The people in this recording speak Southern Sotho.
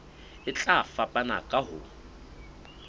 e tla fapana ka ho